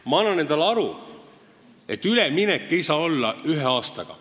Ma annan endale aru, et üleminek ei saa toimuda ühe aastaga.